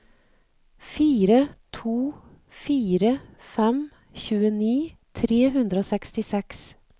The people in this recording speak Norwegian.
fire to fire fem tjueni tre hundre og sekstiseks